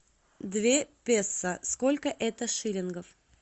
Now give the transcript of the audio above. две песо сколько это шиллингов